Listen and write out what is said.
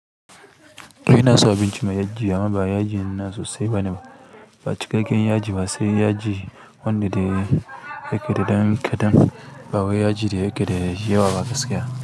To ina son abinci mai yaji amma ba yaji nan sosai bane ba. Ba cikakken yaji ba sai yaji wanda da yake da dankadan ba wa yaji da yake da yawa ba gaskiya.